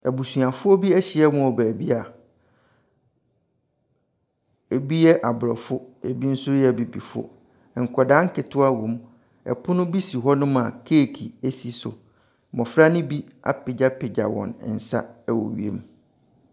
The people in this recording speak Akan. Abusuafoɔ bi ahyia mu wɔ baabi a ɛbi yɛ aborɔfo, ɛbi nso yɛ abibifoɔ. Nkwadaa nketewa wɔ mu. Pono bi si hɔnom a keeki si so. Mmɔfra no bi apagyapagya wɔn nsa wɔ wiem.